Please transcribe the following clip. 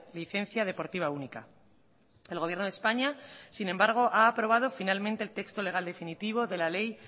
licencia deportiva única el gobierno de españa sin embargo ha aprobado finalmente el texto legal definitivo de la ley